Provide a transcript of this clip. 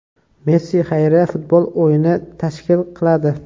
Messi xayriya futbol o‘yini tashkil qiladi.